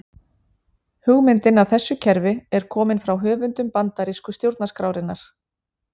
Hugmyndin að þessu kerfi er komin frá höfundum bandarísku stjórnarskrárinnar.